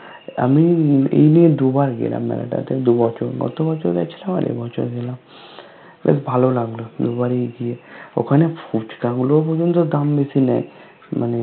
আমি এই নিয়ে দুবার গেলাম মেলাটাতে দুবছর গত বছর গেছিলাম আর এই বছর গেলাম well ভালো লাগলো দুবারই গিয়ে ওখানে ফুচকা গুলো পর্যন্ত দাম বেশি নেই মানে